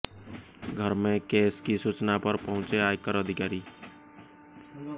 घर में कैश की सूचना पर पहुंचे आयकर अधिकारी